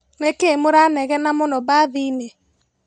Nĩkĩi mũranegena mũno bathiinĩ?